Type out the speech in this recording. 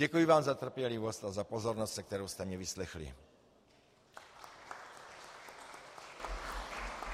Děkuji vám za trpělivost a za pozornost, se kterou jste mě vyslechli.